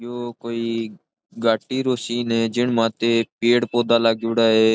यो कोई घाटी रो सीन है जिन माते पेड़ पौधा लागेड़ा है।